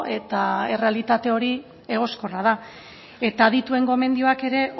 eta errealitate hori egoskorra da eta adituen gomendioak ere